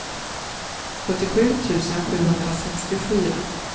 sjuttiosju tusen sjuhundrasextiofyra